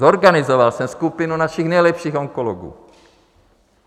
Zorganizoval jsem skupinu našich nejlepších onkologů.